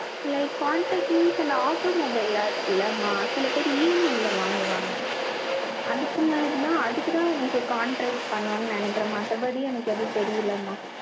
like contract means அந்த auto mobile லாம் இருக்குல்ல, சில பேர் EMI ல வாங்குவாங்க. அதுக்கு முன்னாடிதான், அதுக்குத்தான் எனக்கு contrast பண்ணுவாங்கன்னு நினைக்கிறேன். மத்தபடி, எனக்கு எதுவும் தெரியலைம்மா